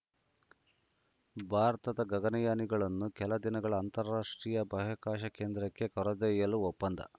ಭಾರತದ ಗಗನಯಾನಿಗಳನ್ನು ಕೆಲ ದಿನ ಅಂತಾರಾಷ್ಟ್ರೀಯ ಬಾಹ್ಯಾಕಾಶ ಕೇಂದ್ರಕ್ಕೆ ಕರೆದೊಯ್ಯಲು ಒಪ್ಪಂದ